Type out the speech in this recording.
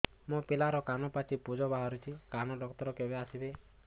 ମୋ ପିଲାର କାନ ପାଚି ପୂଜ ବାହାରୁଚି କାନ ଡକ୍ଟର କେବେ ଆସିବେ